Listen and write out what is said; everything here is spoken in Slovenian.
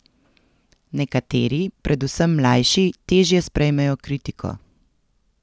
Nekateri, predvsem mlajši, težje sprejmejo kritiko.